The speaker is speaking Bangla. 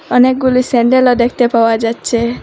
অনেকগুলি স্যান্ডেলও দেখতে পাওয়া যাচ্ছে।